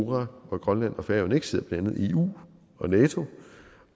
hvor grønland og færøerne ikke sidder blandt andet i eu og nato